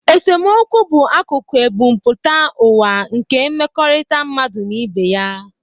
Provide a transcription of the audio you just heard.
Esemokwu bụ akụkụ ebumpụta ụwa nke mmekọrịta mmadụ na ibe ya.